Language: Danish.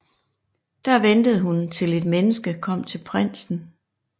Der ventede hun til et menneske kom til prinsen